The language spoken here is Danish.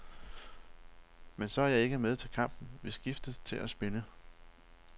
Men så er jeg ikke med til kampen, vi skiftes til at spille.